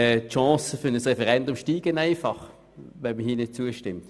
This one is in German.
Die Chance für ein Referendum steigt einfach, wenn man hier nicht zustimmt.